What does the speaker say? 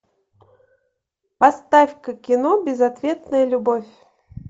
поставь ка кино безответная любовь